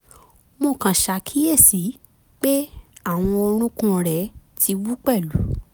mo kàn ṣàkíyèsí pé àwọn orúnkún rẹ̀ ti wú pẹ̀lú